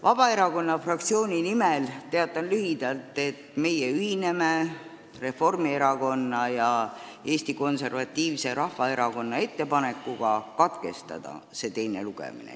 Vabaerakonna fraktsiooni nimel teatan lühidalt, et meie ühineme Reformierakonna ja Eesti Konservatiivse Rahvaerakonna ettepanekuga see teine lugemine katkestada.